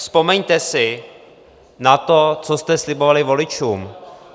Vzpomeňte si na to, co jste slibovali voličům.